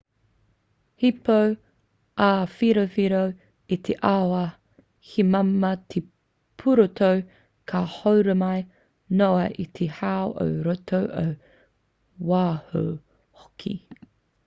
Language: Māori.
he pou āwhiowhio te āwhā he māmā te pūroto ka horomi noa i te hau ō roto ō waho hoki